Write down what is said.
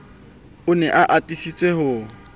o ne a atisa ho